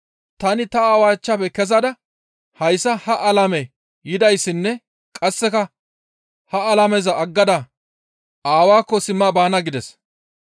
Tani Aawaa achchafe kezada hayssa ha alame yadissinne qasseka ha alameza aggada Aawaakko simma baana» gides.